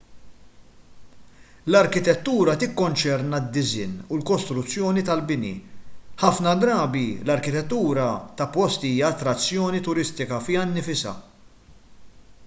l-arkitettura tikkonċerna d-disinn u l-kostruzzjoni tal-bini ħafna drabi l-arkitettura ta' post hija attrazzjoni turistika fiha nfisha